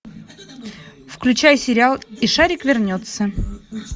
включай сериал и шарик вернется